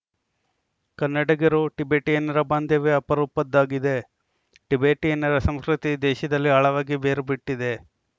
ಕನ್ನಡಿಗರುಟಿಬೆಟಿಯನ್ನರ ಬಾಂಧವ್ಯ ಅಪರೂಪದ್ದಾಗಿದೆ ಟಿಬೆಟಿಯನ್ನರ ಸಂಸ್ಕೃತಿ ದೇಶದಲ್ಲಿ ಆಳವಾಗಿ ಬೇರು ಬಿಟ್ಟಿದೆ